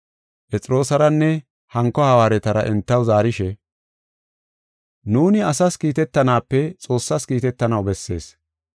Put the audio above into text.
Phexroosaranne hanko hawaaretara entaw zaarishe, “Nuuni asas kiitetanaape Xoossas kiitetanaw bessees.